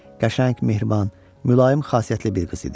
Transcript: Qəşəng, mehriban, mülayim xasiyyətli bir qız idi.